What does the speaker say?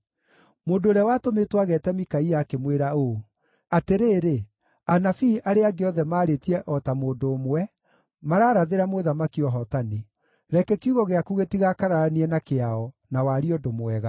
Mũndũ ũrĩa watũmĩtwo ageete Mikaia akĩmwĩra ũũ, “Atĩrĩrĩ, anabii arĩa angĩ othe maarĩtie o ta mũndũ ũmwe, mararathĩra mũthamaki ũhootani. Reke kiugo gĩaku gĩtigakararanie na kĩao, na warie ũndũ mwega.”